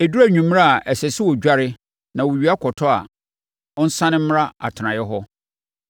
Ɛduru anwummerɛ a, ɛsɛ sɛ ɔdware na owia kɔtɔ a, ɔnsane mmra atenaeɛ hɔ.